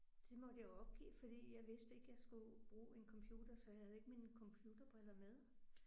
Det måtte jeg jo opgive fordi jeg vidste ikke jeg skulle bruge en computer så jeg havde ikke mine computerbriller med